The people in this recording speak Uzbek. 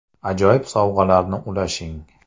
Ajoyib sovg‘alarni ulashing!